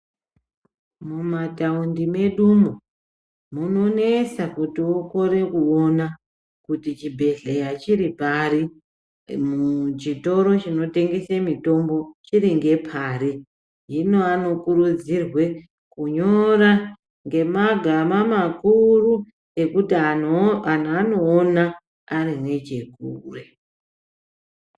Mumataundi medu umwo munonetsa kuti ukore kuona kuti chibhedhlera chiri pari, chitoro chinotengese mitombo chiri ngeche pari hino anokurudzirwe kunyora ngemagama makuru ekuti antu anoona ari nechekure.